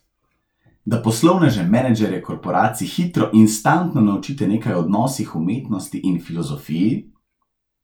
Da poslovneže, menedžerje korporacij hitro, instantno naučite nekaj o odnosih, umetnosti in filozofiji?